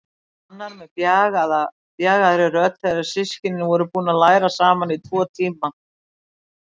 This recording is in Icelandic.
Arnar með bjagaðri rödd þegar systkinin voru búin að læra saman í tæpa tvo tíma.